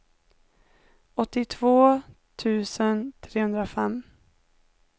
åttiotvå tusen trehundrafem